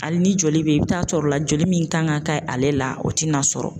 Hali ni joli bɛ yen i bɛ taa sɔrɔ la joli min kan ka kɛ ale la o tɛna sɔrɔ.